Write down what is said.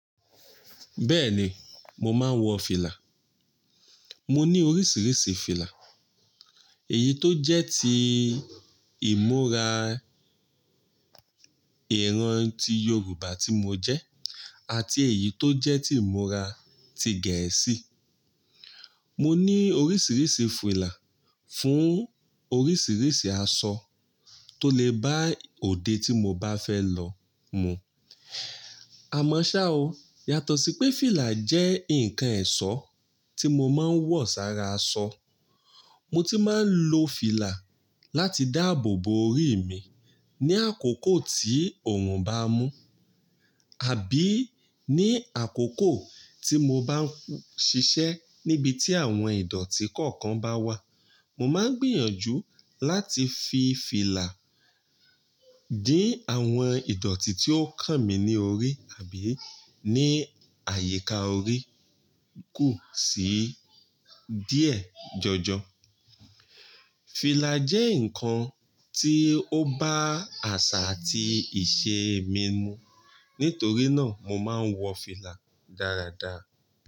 Béèni, mo máa ń wó fìlà. Mo ní oríṣiríṣi fìlà. Èyí tó jẹ́ ti ìmúra ìran ti Yorùbá tí mo jẹ́ àti èyí tó jẹ́ ti ìmúra gẹ̀ẹ́sì. Mo ní oríṣiríṣi fìlà fún oríṣiríṣi aṣọ tó lè bá òde tí mo bá fẹ́ lọ mu. Àmọ́ ṣá o, yàtọ̀ sí pé fìlà jẹ́ ǹkan ẹ̀ṣọ́ tí mo máa ń wọ̀ sára aṣọ, mo ti máa ń lo fìlà láti dáàbò bo orí mi ní àkókò tí oòrùn bá mú. Àbí ní àkókò tí mo bá ń ṣiṣẹ́ níbi tí àwọn ìdọ̀tí kọ̀ọ̀kan bá wà. Mo máa ń gbìyànjú láti fi fìlà dín àwọn ìdọ̀tí tí ó kàn mí ní orí àbí ní àyíká orí kù sí díẹ̀ jọjọ. Fìlà jẹ́ ǹkan tí ó bá àṣà àti ìṣe mi mu. Nítorí náà mo máa ń wọ fìlà dáradára.